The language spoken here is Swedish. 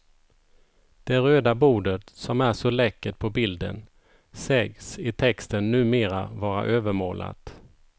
Det röda bordet, som är så läckert på bilden, sägs i texten numera vara övermålat.